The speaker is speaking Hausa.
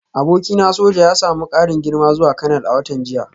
Abokina soja ya samu karin girma zuwa kanal a watan jiya